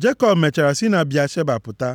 Jekọb mechara si na Bịasheba pụta.